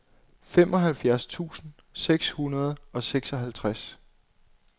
femoghalvfjerds tusind seks hundrede og seksoghalvtreds